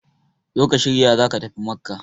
zo ka shirya za ka tafi Makka!